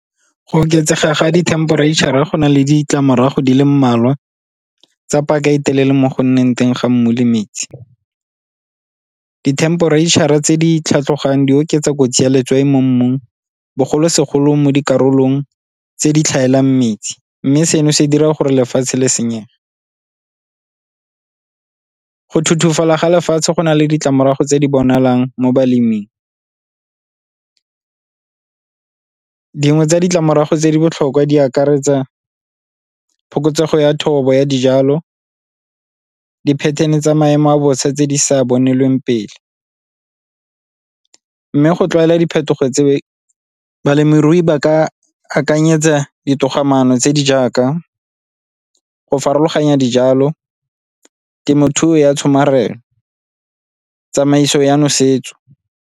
Go oketsega ga di-temperature-ra go na le ditlamorago di le mmalwa, tsa paka e telele mo go nneng teng ga mmu le metsi. Di-temperature-ra tse di tlhaloganyang di oketsa kotsi ya letswai mo mmung, bogolosegolo mo dikarolong tse di tlhaelang metsi mme seno se dira gore lefatshe le senyege. Go ga lefatshe go na le ditlamorago tse di bonalang mo baleming. Dingwe tsa ditlamorago tse di botlhokwa di akaretsa phokotsego ya thobo ya dijalo, di-pattern-e tsa maemo a bosa tse di sa bonelweng pele. Mme go tlwaela diphetogo tse balemirui ba ka akanyetsa ditogamaano tse di jaaka go farologanya dijalo, temothuo ya tshomarelo, tsamaiso ya nosetso.